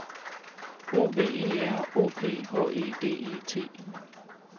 O V E R O P H E D E T